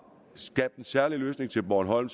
skabt en særlig løsning til bornholm